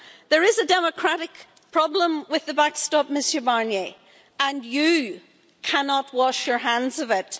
There is a democratic problem with the backstop, Mr Barnier, and you cannot wash your hands of it.